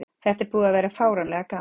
Þetta er búið að vera fáránlega gaman.